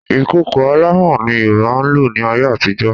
Ìkòkò alámọ̀ ni Yorùbá ń lò ní ayé àtijọ́